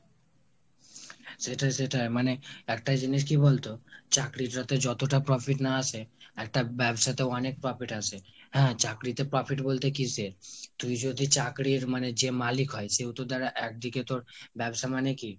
সেটাই সেটাই, মানে একটা জিনিস কী বলতো চাকরির জ তে যতটা profit না আসে একটা ব্যবসাতে অনেক profit আসে। হ্যাঁ চাকরিতে profit বলতে কিসে তুই যদি চাকরির মানে যে মালিক হয় সেও তো তার একদিকে তোর, ব্যবসা মানে কি ?